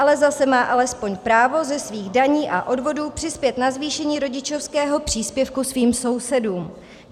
Ale zase má alespoň právo ze svých daní a odvodů přispět na zvýšení rodičovského příspěvku svým sousedům.